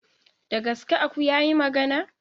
Da gaske aku yayi magana?